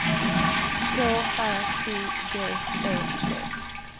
K R I G E T